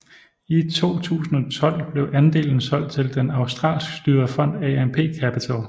I 2012 blev andelen solgt til den australsk styrede fond AMP Capital